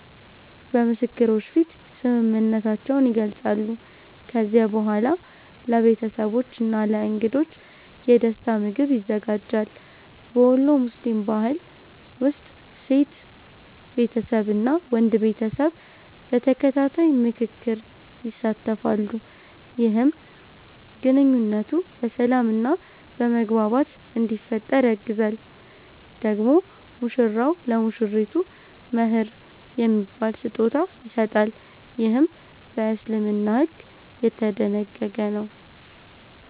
በምስክሮች ፊት ስምምነታቸውን ይገልጻሉ። ከዚያ በኋላ ለቤተሰቦች እና ለእንግዶች የደስታ ምግብ ይዘጋጃል። በወሎ ሙስሊም ባህል ውስጥ ሴት ቤተሰብ እና ወንድ ቤተሰብ በተከታታይ ምክክር ይሳተፋሉ፣ ይህም ግንኙነቱ በሰላም እና በመግባባት እንዲፈጠር ያግዛል። ደግሞ ሙሽራው ለሙሽሪቱ “መህር” የሚባል ስጦታ ይሰጣል፣ ይህም በእስልምና ሕግ የተደነገገ ነው።